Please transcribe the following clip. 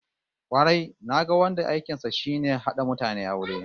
Kwarai, naga wanda aikin sa shine hada mutane aure